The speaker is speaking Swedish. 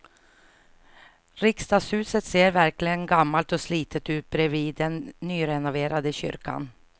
Riksdagshuset ser verkligen gammalt och slitet ut bredvid den nyrenoverade kyrkan.